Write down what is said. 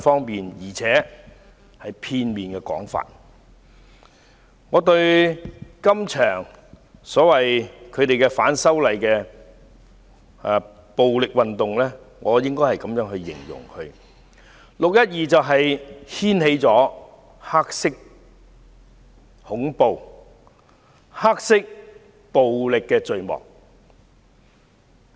對於這場反對派稱為反修例的暴力運動，我這樣形容："六一二"掀開黑色恐怖及黑色暴力的序幕。